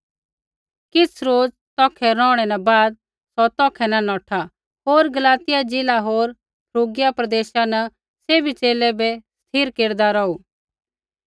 किछ़ रोज़ तौखै रौहै न बाद सौ तौखै न नौठा होर गलातिया ज़िला होर फ्रूगिया प्रदेशा न सैभी च़ेले बै स्थिर केरदा रौहू